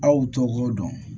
Aw tɔgɔ dɔn